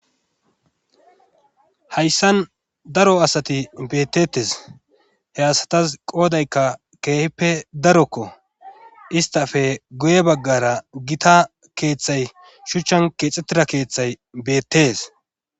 hayssan daro asati beettettes he asatas qoodaykka keehippe darokko istafe goye baggara gita keeththay shuchchan keexxettira keeththay beettees